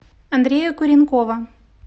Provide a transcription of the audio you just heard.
андрея куренкова